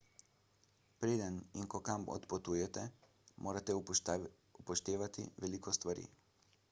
preden in ko kam odpotujete morate upoštevati veliko stvari